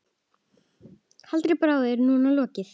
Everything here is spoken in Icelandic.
Harðri baráttu er nú lokið.